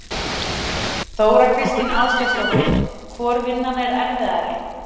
Þóra Kristín Ásgeirsdóttir: Hvor vinnan er erfiðari?